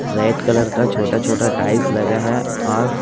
red colour का छोटा छोटा टाइल्स लगा है और--